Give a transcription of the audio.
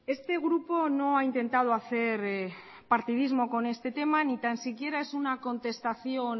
este grupo no ha intentado hacer partidismo con este tema ni tan siquiera es una contestación